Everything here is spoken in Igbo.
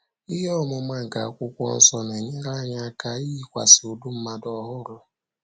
Ihe ọmụma nke Akwụkwọ Nsọ na - enyere anyị aka ‘ iyikwasị ụdị mmadụ ọhụrụ. ’’